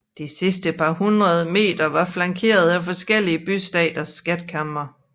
De sidste par hundrede meter var flankeret af forskellige bystaters skatkamre